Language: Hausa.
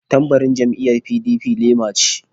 Tambarin jam'iyyar PDP lema ce.